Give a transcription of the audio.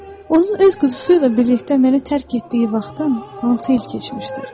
Onun öz quzusu ilə birlikdə məni tərk etdiyi vaxtdan 6 il keçmişdir.